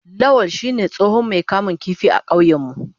Lawal shine tsohon Mai kamun kifi a kauyena.